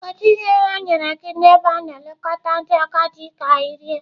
Kedu ihe ha nyere gị n'ebe a na-elekọta ndị agadi ka ị rie?